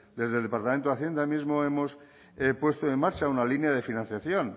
desde el departamento de hacienda mismo hemos puesto en marcha una línea de financiación